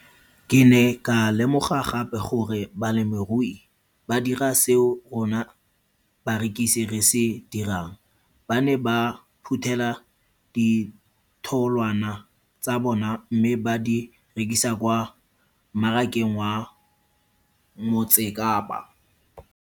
Ke ne ka lemoga gape gore balemirui ba dira seo rona barekisi re se dirang, ba ne ba phuthela ditholwana tsa bona mme ba di rekisa kwa marakeng wa Motsekapa.